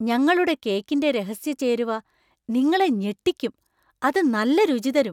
ഞങ്ങളുടെ കേക്കിന്‍റെ രഹസ്യ ചേരുവ നിങ്ങളെ ഞെട്ടിക്കും, അത് നല്ല രുചി തരും.